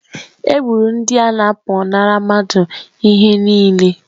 Egburu ndị a na-apụnara mmadụ ihe niile.